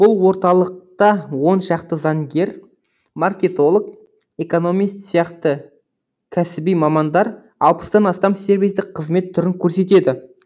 бұл орталықта он шақты заңгер маркетолог экономист сияқты кәсіби мамандар алпыстан астам сервистік қызмет түрін көрсетеді